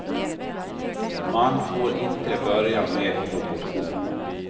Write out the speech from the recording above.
Man får inte börja med proportion.